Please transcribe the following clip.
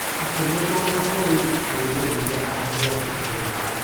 Akĩmũtwara kũrĩ rũĩ rũrĩa angĩarutire maĩ.